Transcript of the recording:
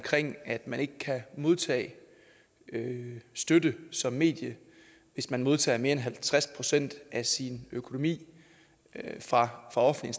at man ikke kan modtage støtte som medie hvis man modtager mere end halvtreds procent af sin økonomi fra offentlig